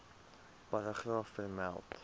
paragraaf vermeld